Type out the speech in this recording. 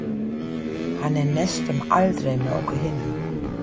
Hann er næstum aldrei með okkur hinum.